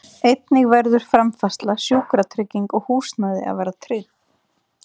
Einnig verður framfærsla, sjúkratrygging og húsnæði að vera tryggð.